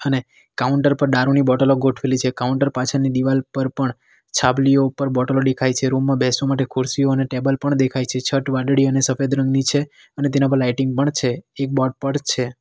અને કાઉન્ટર પર દારૂની બોટલો ગોઠવેલી છે કાઉન્ટર પાછળની દિવાલ પર પણ છાબલીયો ઉપર બોટલો દેખાય છે રૂમ માં બેસવા માટે ખુરશીઓ અને ટેબલ પણ દેખાય છે છત વાદળી અને સફેદ રંગની છે અને તેના પર લાઇટિંગ પણ છે એક બોર્ડ પડ છે.